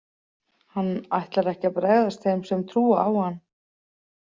Hann ætlar ekki að bregðast þeim sem trúa á hann.